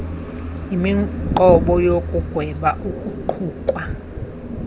yimiqobo yokugweba ukuqukwa